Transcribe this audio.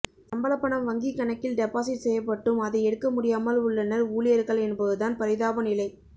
சம்பள பணம் வங்கி கணக்கில் டெபாசிட் செய்யப்பட்டும் அதை எடுக்க முடியாமல் உள்ளனர் ஊழியர்கள் என்பதுதான் பரிதாப நிலை